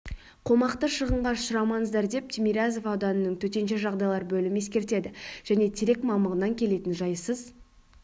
қомақты шығынға ұшырамаңыздар деп тимирязев ауданының төтенше жағдайлар бөлімі ескертеді және терек мамығынан келетін жайсыз